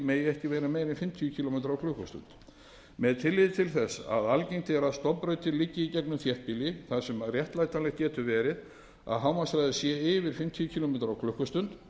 en fimmtíu kílómetra klukkustundir með tilliti til þess að algengt er að stofnbrautir liggi í gegnum þéttbýli þar sem réttlætanlegt getur verið að hámarkshraði sé yfir fimmtíu kílómetra klukkustund